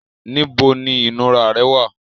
Níbo ni ìnura rẹ wà?